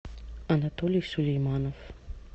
анатолий сулейманов